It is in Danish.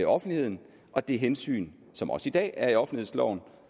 offentligheden og det hensyn som også i dag er i offentlighedsloven